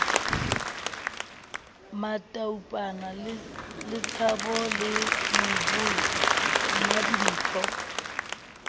mataupana letshaba le nomvuyo mmadimpho